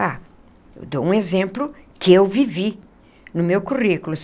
Ah, eu dou um exemplo que eu vivi no meu currículo.